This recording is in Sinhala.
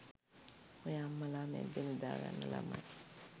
ඔය අම්මලා මැද්දෙ නිදාගන්න ළමයි